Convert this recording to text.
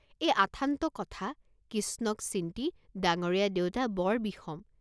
এই আথান্ত কথা, কিষ্ণক চিন্তি ডাঙৰীয়া দেউতা বৰ বিষম।